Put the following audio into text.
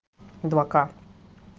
два к